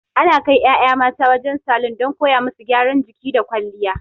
Ana kai ƴaƴa mata wajen salon don koya musu gyaran jiki da kwalliya.